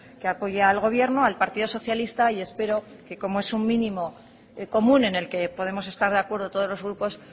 que apoya al gobierno al partido socialista y espero que como es un mínimo común en el que podemos estar de acuerdo todos los grupos